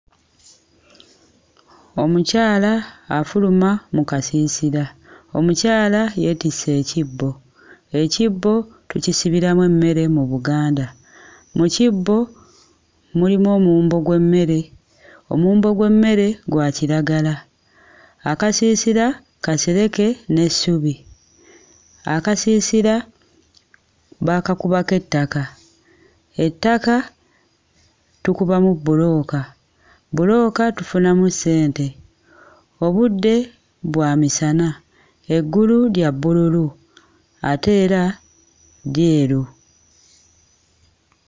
Omukyala afuluma mu kasiisira, omukyala yeetisse ekibbo, ekibbo tukisibiramu emmere mu Buganda, mu kibbo mulimu omuwumbo gw'emmere, omuwumbo gw'emmere gwa kiragala, akasiisira kasereke n'essubi, akasiisira baakakubako ettaka, ettaka tukubamu bbulooka, bbulooka tufunamu ssente, obudde bwa misana, eggulu lya bbululu ate era lyeru.